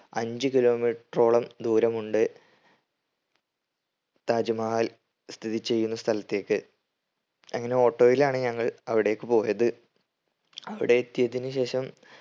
അഞ്ച് kilometer റോളം ദൂരമുണ്ട് താജ് മഹൽ സ്ഥിതി ചെയ്യുന്ന സ്ഥലത്തേക്ക് അങ്ങനെ auto യിലാണ് ഞങ്ങൾ അവിടേക്ക് പോയത്. അവിടെ എത്തിയതിന് ശേഷം